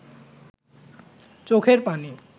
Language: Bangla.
চোখের পানি